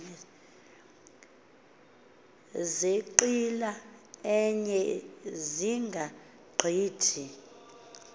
zenqila enye zingagqithi